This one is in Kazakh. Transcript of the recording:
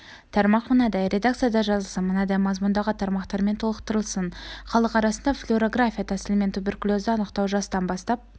тармақ мынадай редакцияда жазылсын мынадай мазмұндағы тармақтармен толықтырылсын халық арасында флюорография тәсілімен туберкулезді анықтау жастан бастап